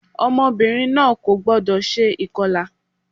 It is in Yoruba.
Ọmọbìnrin náà kò gbọ́dọ̀ se ìkọlà